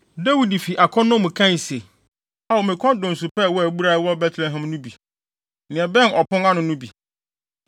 Dawid fi akɔnnɔ mu kae se, “Ao me kɔn dɔ nsu pa a ɛwɔ abura a ɛwɔ Betlehem no bi; nea ɛbɛn ɔpon ano no bi.”